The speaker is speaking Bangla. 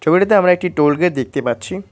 ছবিটাতে আমরা একটি টোল গেট দেখতে পাচ্ছি।